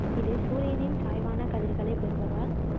இது சூரியனின் சாய்வான கதிர்களைக் பெறுவதால்